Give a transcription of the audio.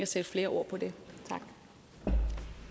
sætte flere ord på det